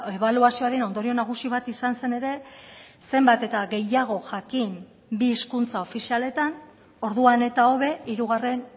ebaluazioaren ondorio nagusi bat izan zen ere zenbat eta gehiago jakin bi hizkuntza ofizialetan orduan eta hobe hirugarren